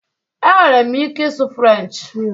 Enwere m ike ịsụ French